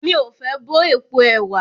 Mí o fé bọ́ èpo ẹ̀wà.